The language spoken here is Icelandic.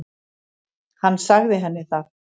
Hann sagði henni það.